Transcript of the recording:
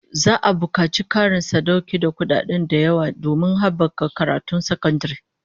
Za'a bukaci Karin sadaukar da kudaden da yawa domin habaka karatun sakandare